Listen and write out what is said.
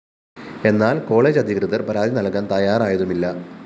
എന്നാല്‍ കോളജ് അധികൃതര്‍ പരാതി നല്‍കാന്‍ തയ്യാറായതുമില്ല